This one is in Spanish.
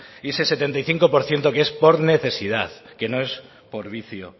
y ese setenta y cinco por ciento es por necesidad que no es por vicio